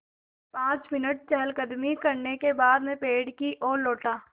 पाँच मिनट चहलकदमी करने के बाद मैं पेड़ की ओर लौटा